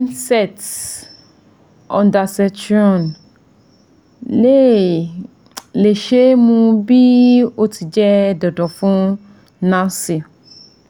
Emeset (Ondansetron) le le ṣee mu bi o ti jẹ dandan fun nausea